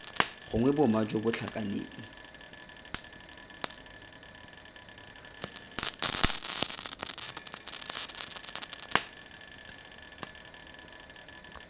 gongwe boma jo bo tlhakaneng